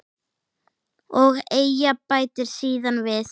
Og Eyja bætir síðan við